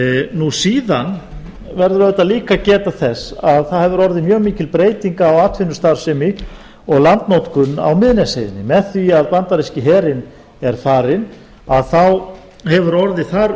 nú síðan verður líka auðvitað að geta þess að það hefur orðið mjög mikil breyting á atvinnustarfsemi og landnotkun á miðnesheiði með því að bandaríski herinn er farinn þá hefur orðið þar